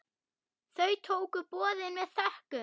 Þau tóku boðinu með þökkum.